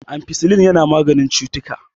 ampicillin yana maganin ctuttuka